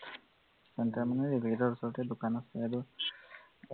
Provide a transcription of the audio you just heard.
centre মানে ৰেলগেটৰ ওচৰতে দোকান আছে আৰু